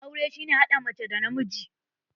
Aure shi ne hada mace da namiji.